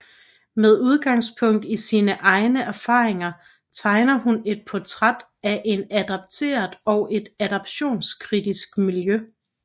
Med udgangspunkt i sine egne erfaringer tegner hun et portræt af en adopteret og et adoptionskritisk miljø